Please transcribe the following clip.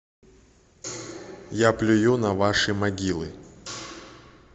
я плюю на ваши могилы